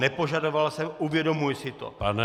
Nepožadoval jsem, uvědomuji si to.